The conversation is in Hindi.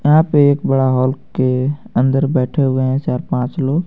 यहाँ पे एक बड़ा हॉल के अंदर बैठे हुए हे चार पांच लोग.